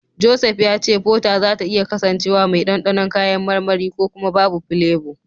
Joseph ya ce Fota zata iya kasancewa mai dandanon kayan marmari ko kuma babu filebo.